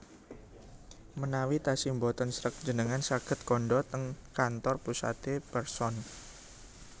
menawi tasih mboten sreg njenengan saget kandha teng kantor pusate Pearson